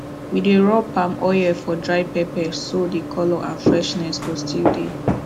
we dey rub palm oil for dry pepper so the colour and freshness go still dey